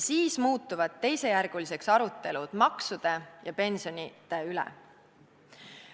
Siis muutuvad teisejärguliseks arutelud maksude ja pensionide üle.